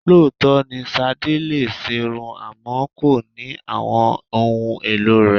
Lóòótọ́ ni Sadé lè ṣerun àmọ́ kò ní àwọn ohun èlò rẹ.